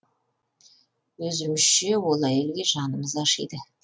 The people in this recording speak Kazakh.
өзімізше ол әйелге жанымыз ашиды